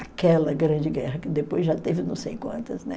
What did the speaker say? Aquela Grande Guerra, que depois já teve não sei quantas, né?